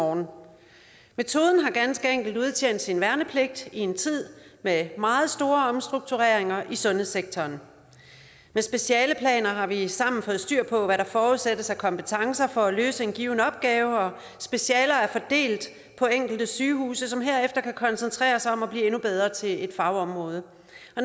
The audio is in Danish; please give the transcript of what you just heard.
morgen metoden har ganske enkelt udtjent sin værnepligt i en tid med meget store omstruktureringer i sundhedssektoren med specialeplaner har vi sammen fået styr på hvad der forudsættes af kompetencer for at løse en given opgave og specialer er fordelt på enkelte sygehuse som herefter kan koncentrere sig om at blive endnu bedre til et fagområde